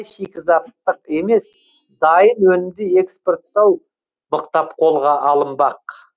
шикізаттық емес дайын өнімді экспорттау мықтап қолға алынбақ